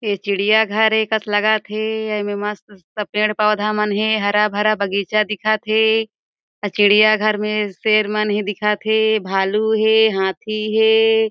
ए चिड़िया घर ए कस लगत हे अउ एमे मस्त-मस्त पेड़-पौधा मन हे हरा-भरा बगीचा दिखत हे चिड़िया घर में शेर मन ही दिखत हे भालू हे हाथी हे।